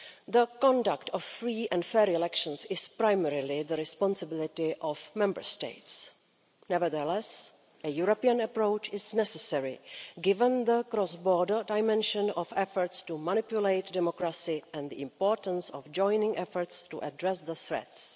The conduct of free and fair elections is primarily the responsibility of Member States. Nevertheless, a European approach is necessary, given the cross border dimension of efforts to manipulate democracy and the importance of joining efforts to address the threats.